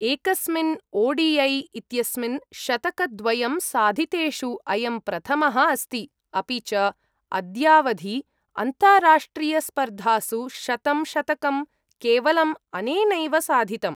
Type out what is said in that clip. एकस्मिन् ओ.डी.ऐ इत्यस्मिन् शतकद्वयं साधितेषु अयं प्रथमः अस्ति, अपि च अद्यावधि, अन्ताराष्ट्रियस्पर्धासु शतं शतकं केवलम् अनेनैव साधितम्।